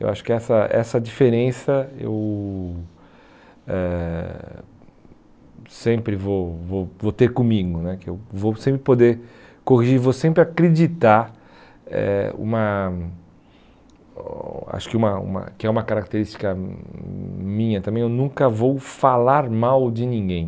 Eu acho que essa essa diferença eu eh sempre vou vou vou ter comigo né, que eu vou sempre poder corrigir, vou sempre acreditar eh uma acho que uma uma que é uma característica minha também, eu nunca vou falar mal de ninguém.